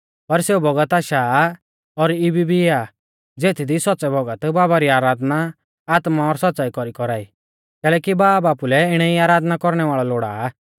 पर सेऊ बौगत आशा सा और इबी भी आ ज़ेथदी सौच़्च़ै भौगत बाबा री आराधना आत्मा और सौच़्च़ाई कौरी कौरा ई कैलैकि बाब आपुलै इणै ई आराधना कौरणै वाल़ै लोड़ा आ